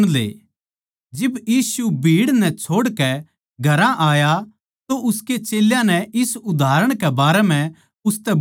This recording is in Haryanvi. जिब यीशु भीड़ नै छोड़कै घरां आया तो उसके चेल्यां नै इस उदाहरण कै बारै म्ह उसतै बुझ्झया